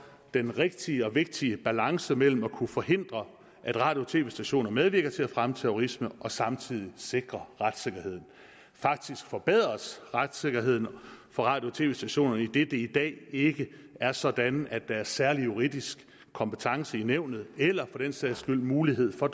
den rigtige og vigtige balance mellem at kunne forhindre at radio og tv stationer medvirker til at fremme terrorisme og samtidig sikre retssikkerheden faktisk forbedres retssikkerheden for radio og tv stationerne idet det i dag ikke er sådan at der er særlig juridisk kompetence i nævnet eller for den sags skyld mulighed for